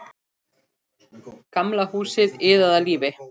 Gamla húsið iðaði af lífi.